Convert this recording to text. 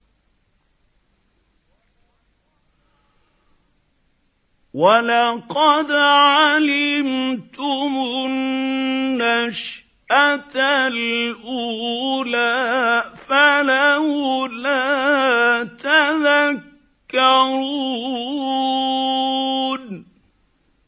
وَلَقَدْ عَلِمْتُمُ النَّشْأَةَ الْأُولَىٰ فَلَوْلَا تَذَكَّرُونَ